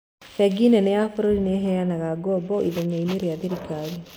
Bengi nene ya bururi nĩheanaga ngombo ithenyainĩ rĩa thirikari